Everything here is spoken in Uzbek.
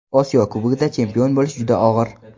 Osiyo Kubogida chempion bo‘lish juda og‘ir.